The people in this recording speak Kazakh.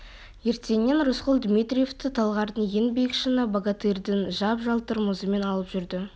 ертеңіне рысқұл дмитриевті талғардың ең биік шыңы богатырьдің жап-жалтыр мұзымен алып жүрді